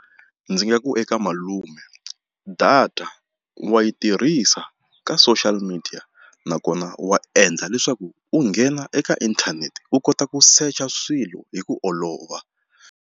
Ndzi nga ku eka malume data wa yi tirhisa ka social media nakona wa endla leswaku u nghena eka inthanete u kota ku secha swilo hi ku olova.